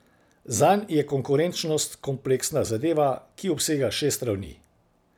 Zanj je konkurenčnost kompleksna zadeva, ki obsega šest ravni.